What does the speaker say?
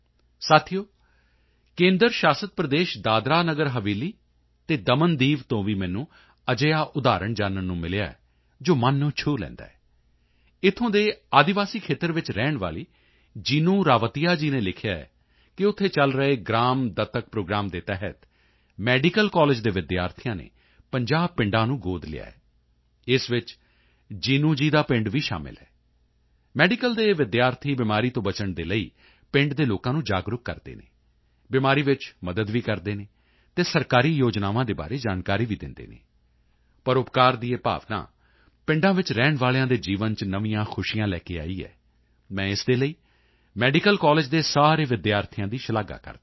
ਸਾਥੀਓ ਕੇਂਦਰ ਸ਼ਾਸਿਤ ਪ੍ਰਦੇਸ਼ ਦਾਦਰਾ ਨਗਰ ਹਵੇਲੀ ਅਤੇ ਦਮਨਦੀਵ ਤੋਂ ਵੀ ਮੈਨੂੰ ਅਜਿਹਾ ਉਦਾਹਰਣ ਜਾਨਣ ਨੂੰ ਮਿਲਿਆ ਹੈ ਜੋ ਮਨ ਨੂੰ ਛੂਹ ਲੈਂਦਾ ਹੈ ਇੱਥੋਂ ਦੇ ਆਦਿਵਾਸੀ ਖੇਤਰ ਵਿੱਚ ਰਹਿਣ ਵਾਲੀ ਜੀਨੂੰ ਰਾਵਤੀਆ ਜੀ ਨੇ ਲਿਖਿਆ ਹੈ ਕਿ ਉੱਥੇ ਚਲ ਰਹੇ ਗ੍ਰਾਮ ਦੱਤਕ ਪ੍ਰੋਗਰਾਮ ਦੇ ਤਹਿਤ ਮੈਡੀਕਲ ਕਾਲਜ ਦੇ ਵਿਦਿਆਰਥੀਆਂ ਨੇ 50 ਪਿੰਡਾਂ ਨੂੰ ਗੋਦ ਲਿਆ ਹੈ ਇਸ ਵਿੱਚ ਜੀਨੂੰ ਜੀ ਦਾ ਵੀ ਪਿੰਡ ਸ਼ਾਮਲ ਹੈ ਮੈਡੀਕਲ ਦੇ ਇਹ ਵਿਦਿਆਰਥੀ ਬਿਮਾਰੀ ਤੋਂ ਬਚਣ ਦੇ ਲਈ ਪਿੰਡ ਦੇ ਲੋਕਾਂ ਨੂੰ ਜਾਗਰੂਕ ਕਰਦੇ ਹਨ ਬਿਮਾਰੀ ਵਿੱਚ ਮਦਦ ਵੀ ਕਰਦੇ ਹਨ ਅਤੇ ਸਰਕਾਰੀ ਯੋਜਨਾਵਾਂ ਦੇ ਬਾਰੇ ਜਾਣਕਾਰੀ ਵੀ ਦਿੰਦੇ ਹਨ ਪਰਉਪਕਾਰ ਦੀ ਇਹ ਭਾਵਨਾ ਪਿੰਡਾਂ ਵਿੱਚ ਰਹਿਣ ਵਾਲਿਆਂ ਦੇ ਜੀਵਨ ਚ ਨਵੀਆਂ ਖੁਸ਼ੀਆਂ ਲੈ ਕੇ ਆਈ ਹੈ ਮੈਂ ਇਸ ਦੇ ਲਈ ਮੈਡੀਕਲ ਕਾਲਜ ਦੇ ਸਾਰੇ ਵਿਦਿਆਰਥੀਆਂ ਦੀ ਸ਼ਲਾਘਾ ਕਰਦਾ ਹਾਂ